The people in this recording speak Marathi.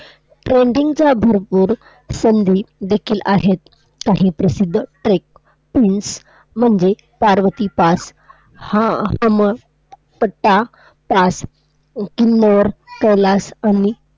Trekking च्या भरपूर संधी देखील आहेत काही प्रसिद्ध Trek, पिन्स म्हणजे पार्वतीपास हा पट्टा कैलास आणि